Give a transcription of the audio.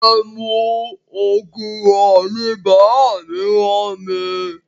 Ẹmu ògùrọ̀ ni bàámi ràn mi.